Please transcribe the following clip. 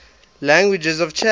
languages of chad